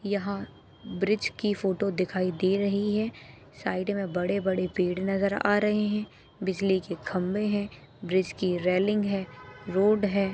यहाँ ब्रीज की फोटो दिखाई दे रही है साइड मैं बड़े बड़े पेड़ नजर आ रहे है बिजली क खम्बे है ब्रीज की रेलिंग है रोड है।